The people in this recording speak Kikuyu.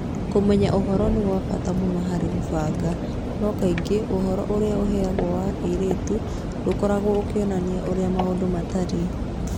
Kũmenya ũhoro nĩ kwa bata mũno harĩ kũbanga, no kaingĩ ũhoro ũrĩa ũheagwo wa airĩtu ndũkoragwo ũkĩonania ũrĩa maũndũ matariĩ.